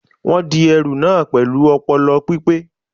Wọ́n di ẹrù na pẹ̀lú ọpọlọ pípé